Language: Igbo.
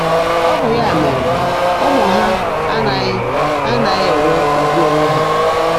Ọ bụ ya mere ụmụ ha anaghị anaghị enwe ugwu onwe ha”